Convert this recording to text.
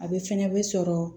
A bɛ fɛnɛ bɛ sɔrɔ